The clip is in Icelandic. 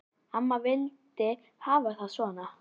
Amma vildi hafa það svona.